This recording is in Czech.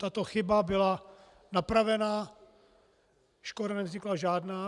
Tato chyba byla napravena, škoda nevznikla žádná.